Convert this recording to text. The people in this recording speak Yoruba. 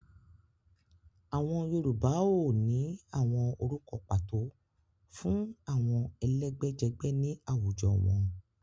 Àwọn Yorùbá óò ní àwọn orúkọ pàtó fún àwọn ẹ̀lẹ́gbẹ́jẹgbẹ́ ni awujọ wọn.